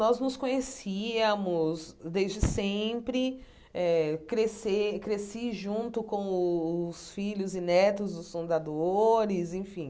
Nós nos conhecíamos desde sempre eh, crescer crasci junto com os filhos e netos dos fundadores, enfim.